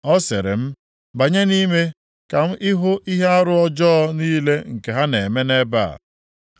Ọ sịrị m, “Banye nʼime ka ị hụ ihe arụ ọjọọ niile nke ha na-eme nʼebe a.”